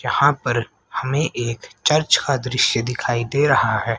यहां पर हमें एक चर्च का दृश्य दिखाई दे रहा है।